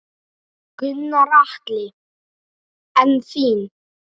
Gunnar Atli: En þín?